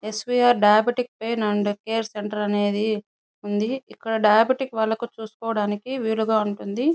Yes V R diabetic pain and care centre అనేది ఉంది. ఇక్కడ డయాబెటిక్ వాళ్ళకి చూసుకోవటానికి వీలుగా ఉంటుంది.